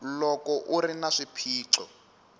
loko u ri na swiphiqo